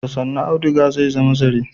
Da sannu auduga zai zama zare.